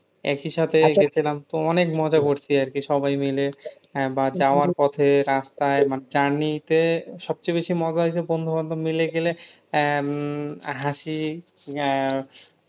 একই সাথে গেছিলাম তো অনেক মজা করছি আর কি সবাই মিলে হ্যাঁ বা যাওয়ার পথে রাস্তায় মানে journey তে সবচেয়ে বেশি মজা হয়েছে বন্ধুবান্ধব মিলে গেলে আহ উম হাসি আহ